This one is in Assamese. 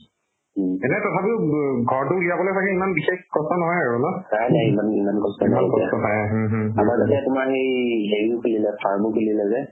এনে তথাপিও উব ঘৰতো উলিয়াবলে হ'লে ইমান বিচাৰি কষ্ট নহয় আৰু ন ইমান কষ্ট পাই হুম হুম হুম